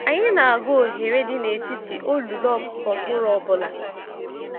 Anyi n'agu ohere dị n'etiti olulu ọkụkụ mkpụrụ ọbụla.